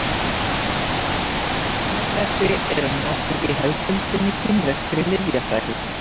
blöð af baunagrasi eru notuð í hefðbundinni kínverskri lyfjafræði